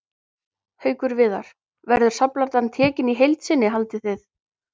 Haukur Viðar: Verður safnplatan tekin í heild sinni haldið þið?